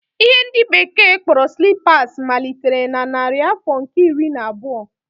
Ihe ndi bekee kporo slippers malitere na narị afọ nke iri na abuo